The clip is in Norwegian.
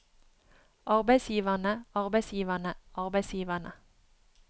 arbeidsgiverne arbeidsgiverne arbeidsgiverne